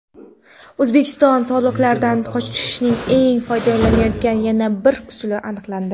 O‘zbekistondan soliqlardan qochishning keng foydalanilayotgan yana bir usuli aniqlandi.